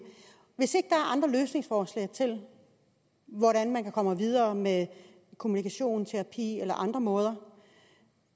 er andre løsningsforslag til hvordan man kommer videre med kommunikation terapi eller på andre måder